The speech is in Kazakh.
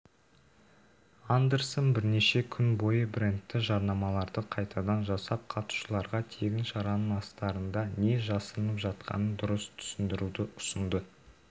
андерсон бірнеше күн бойы брэндті жарнамаларды қайтадан жасап қатысуышларға тегіншараның астарында не жасырынып жатқанын дұрыс түсіндіруді ұсынды